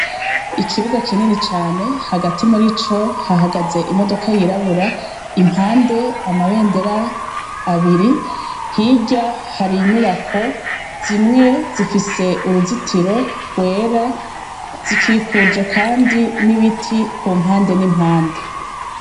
Ikibuga kinini cane, hagati muri co hahagaze imodoka yirabura, impande amabendera abiri, hirya hari inyubako, zimwe zifise uruzitiro rwera, zikikuje kandi n'ibiti ku mpande n'impande.